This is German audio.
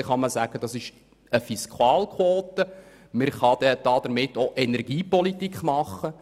Dann kann man es als Fiskalquote betrachten und damit auch Energiepolitik machen.